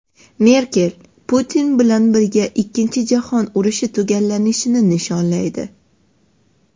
Merkel Putin bilan birga Ikkinchi jahon urushi tugallanishini nishonlaydi.